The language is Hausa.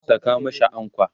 Saka mashi ankwa!